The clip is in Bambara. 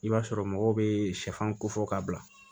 I b'a sɔrɔ mɔgɔw bee sɛfan kofɔ ka bila